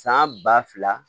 San ba fila